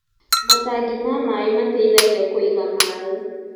Matangi ma maĩ mateithagia kũiga maĩ